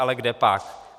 Ale kdepak.